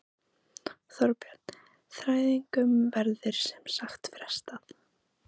Þorbjörn: Þræðingum verður sem sagt frestað?